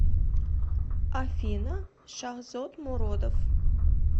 афина шахзод муродов